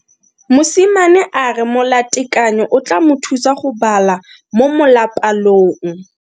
Mosimane a re molatekanyo o tla mo thusa go bala mo molapalong.